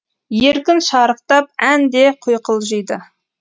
еркін шарықтап ән де құйқылжиды